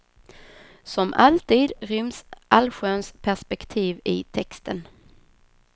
Som alltid ryms allsköns perspektiv i texten.